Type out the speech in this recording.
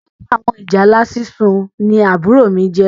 Olórí àwọn ìjálá sísun ní àbúrò mí jẹ